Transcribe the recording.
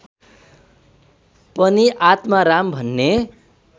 पनि आत्माराम भन्ने